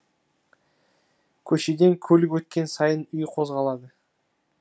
көшеден көлік өткен сайын үй қозғалады